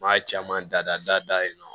N b'a caman dada dayɛlɛ